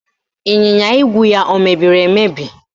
Ịnyịnya ígwè ya emebiri emebi?